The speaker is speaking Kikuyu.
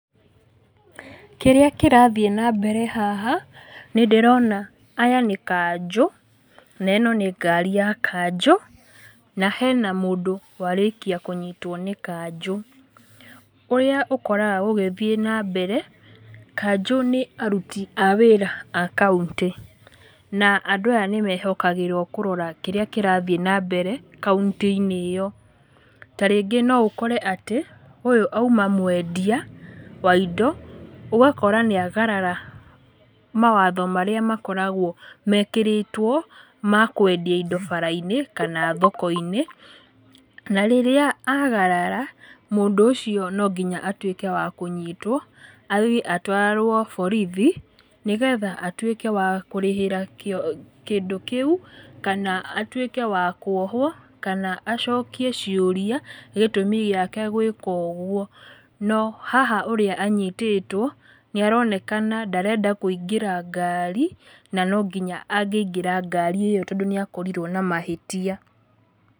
Kĩrĩa kĩrathiĩ nambere haha, nĩndĩrona aya nĩ kanjũ, na ĩno nĩ ngari ya kanjũ, na hena mũndũ warĩkia kũnyitwo nĩ kanjũ. Ũrĩa ũkoraga gũgĩthiĩ nambere, kanjũ nĩ aruti a wĩra a kauntĩ, na andũ aya nĩmehokagĩrwo kũrora kĩrĩa kĩrathiĩ nambere kauntĩ-inĩ ĩyo. Tarĩngĩ noũkore atĩ, ũyũ auma mwendia, wa indo, ũgakora nĩagarara mawatho marĩa makoragwo mekĩrĩtwo, ma kwendia indo bara-inĩ kana thoko-inĩ, na rĩrĩa agarara, mũndũ ũcio nonginya atwĩke wa kũnyitwo, atwarwo borithi, nĩgetha atwĩke wa kũrĩhĩra kío kĩndũ kĩu, kana atwĩke wa kuohwo, kana acokie ciũria, gĩtũmi gĩake gwĩka ũguo. No haha ũrĩa anyitĩtwo, nĩaronekana ndarenda kũingĩra ngari, na nonginya angĩingĩra ngari ĩyo tondũ nĩakorirwo na mahĩtia.